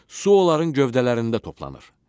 Su onların gövdələrində toplanır.